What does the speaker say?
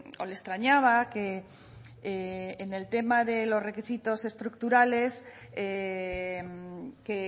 o le extrañaba que en el tema de los requisitos estructurales que